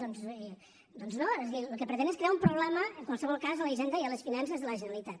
doncs no és a dir el que pretén és crear un problema en qualsevol cas a la hisenda i a les finances de la generalitat